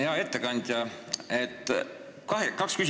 Hea ettekandja!